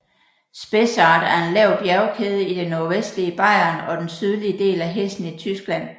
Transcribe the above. Spessart er en lav bjergkæde i det nordvestlige Bayern og den sydlige del af Hessen i Tyskland